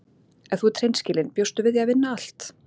Ef þú ert hreinskilin bjóstu við því að vinna allt?